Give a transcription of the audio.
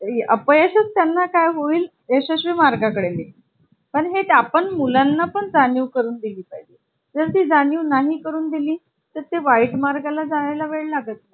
आहे, cromebook laptop, macbook laptop, convertible laptop हे लॅपटॉपचे वेगवेगळे प्रकार आपल्याला बघायला मिळते आहे.